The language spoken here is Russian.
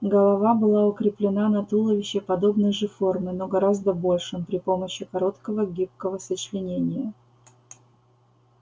голова была укреплена на туловище подобной же формы но гораздо большем при помощи короткого гибкого сочленения